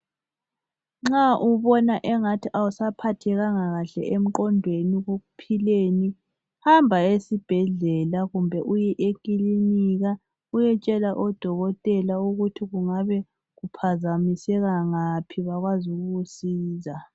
Nxa ubona engathi awusaphathekanga kahle emqondweni, ekuphileni hamba esibhedlela kumbe ekilinika uyetshela odokotela ukuthi kungabe kuphazamiseka ngaphi ukuze bakwazi ukukusiza.